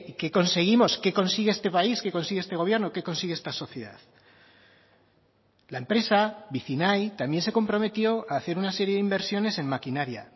qué conseguimos qué consigue este país qué consigue este gobierno qué consigue esta sociedad la empresa vicinay también se comprometió a hacer una serie de inversiones en maquinaria